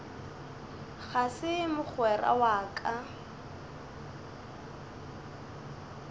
ga se mogwera wa ka